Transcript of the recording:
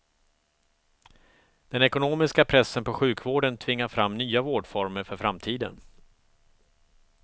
Den ekonomiska pressen på sjukvården tvingar fram nya vårdformer för framtiden.